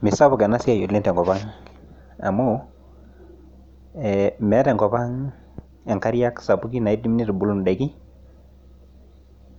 Ime sapuk oleng ena siai oleng tenkop ang, amuu ee meeta enkop ang inkariak sapuki naaidm aitubulu indaiki,